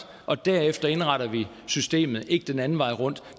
og derefter indretter vi systemet ikke den anden vej rundt